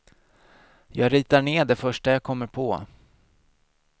Jag ritar ned det första jag kommer på.